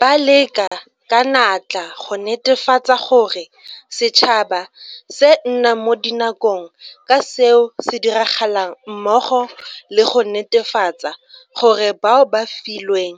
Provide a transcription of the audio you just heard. Ba leka ka natla go netefatsa gore setšhaba se nna mo dinakong ka seo se diragalang mmogo le go netefatsa gore bao ba filweng